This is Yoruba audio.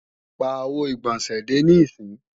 Pàwo ìgbọ̀nsẹ̀ dè níìsín!